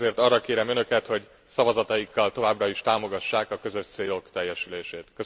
Éppen ezért arra kérem önöket, hogy szavazataikkal továbbra is támogassák a közös célok teljesülését.